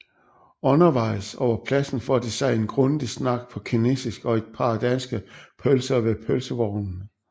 Undervejs over pladsen får de sig en grundig snak på kinesisk og et par danske pølser ved pølsevognene